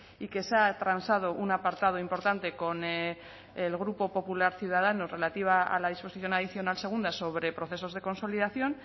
y que se ha transado un apartado importante con el grupo popular ciudadanos relativa a la disposición adicional segunda sobre procesos de consolidación